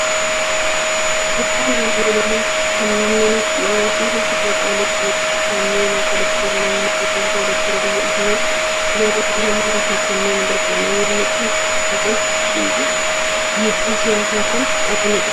Suuraan armaan olii kan inni nutti argisiisu suuraa qaaliiwwan Oromoo kanneen akka Dookter Lammaa Magarsaa, Dookter Abiyyi Ahimed, Jowaar Mohaammedii fi kanneen biroodha. Namoonni kun kolfaa kan jiranii fi dhiibbaa siyaasaa kan qabanidha.